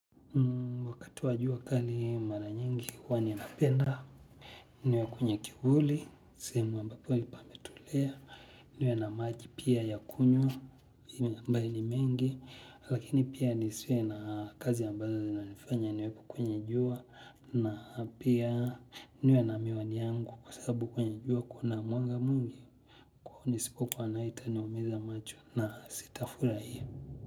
Wakati wa jua kali mara nyingi huwa ninapenda, niwe kwenye kivuli, sehemu ambapo pametulia, niwe na maji pia ya kunywa, ni mengi, lakini pia nisiwe na kazi ambazo zinanifanya niwe kwenye jua, na pia niwe na miwani yangu kwa sababu kwenye jua kuna mwanga mwingi, kwa hiyo nisipokuwa nayo itaniumiza macho na sitafurahia.